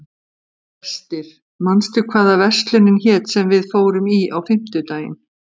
Brestir, manstu hvað verslunin hét sem við fórum í á fimmtudaginn?